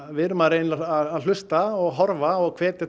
við að reyna að hlusta horfa og hvetja